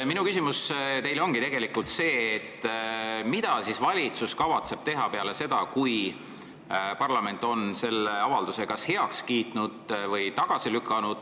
Minu küsimus teile ongi see, mida siis valitsus kavatseb teha peale seda, kui parlament on selle avalduse kas heaks kiitnud või tagasi lükanud.